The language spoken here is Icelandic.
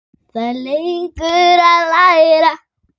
Það er leikur að læra